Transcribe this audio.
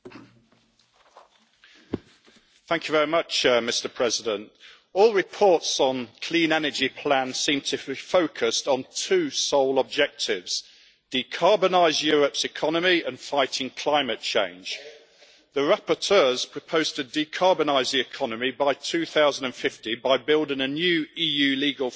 Mr President, all reports on the clean energy plan seem to be focused on two sole objectives, decarbonising Europe's economy and fighting climate change. The rapporteurs propose to decarbonise the economy by 2050 by building a new EU legal framework that would achieve the objectives of the